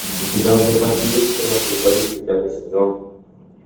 у тебя в запасе есть кино футболисты пятый сезон